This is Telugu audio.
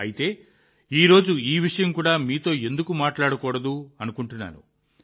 అందుకే ఈ రోజు ఈ విషయం కూడా మీతో ఎందుకు మాట్లాడకూడదని అనుకున్నాను